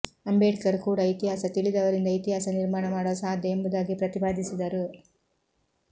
ಅಂಬೇಡ್ಕರ್ ಕೂಡ ಇತಿಹಾಸ ತಿಳಿಯದವರಿಂದ ಇತಿಹಾಸ ನಿರ್ಮಾಣ ಮಾಡಲು ಸಾಧ್ಯ ಎಂಬುದಾಗಿ ಪ್ರತಿಪಾದಿಸಿದ್ದರು